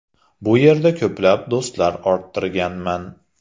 Bu yerda ko‘plab do‘stlar orttirganman.